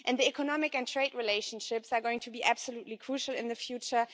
And the economic and trade relationships are going to be absolutely crucial in the future.